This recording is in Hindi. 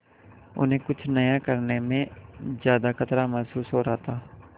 उन्हें कुछ नया करने में ज्यादा खतरा महसूस हो रहा था